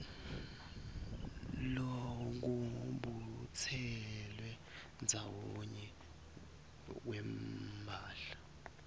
lwekubutselwa ndzawonye kwemphahla